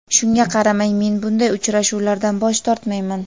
Shunga qaramay, men bunday uchrashuvlardan bosh tortmayman.